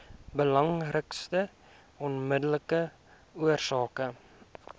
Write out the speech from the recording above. belangrikste onmiddellike oorsake